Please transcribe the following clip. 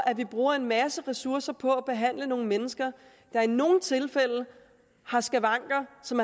at vi bruger en masse ressourcer på at behandle nogle mennesker der i nogle tilfælde har skavanker som